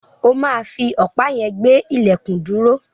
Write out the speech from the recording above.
O máa fi ọ̀pá yẹn gbé ilẹ̀kùn dúró.